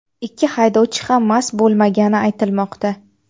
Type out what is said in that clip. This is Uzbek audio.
Ikki haydovchi ham mast bo‘lmagani aytilmoqda.